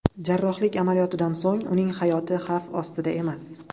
Jarrohlik amaliyotidan so‘ng uning hayoti xavf ostida emas.